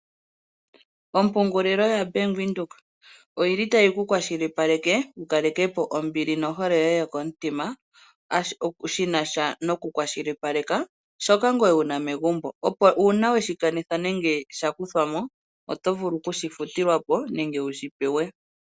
Ompungulilo yobank Windhoek otayi ku kwashilipaleke wu kalekepo ombili yoye nohole yokomutima, shinasha noku kwashilipalekà shoka wuna megumbo opo uuna sha kuthwa po oto vulu okushi pewa.